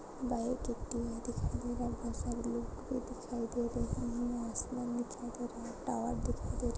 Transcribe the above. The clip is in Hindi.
बाइक दिखाई दे रहे हैं बोहोत सारे लोग भी दिखाई दे रहे हैं नीले आसमान दिखाई दे रहा हैं टावर दिखाई दे रहा --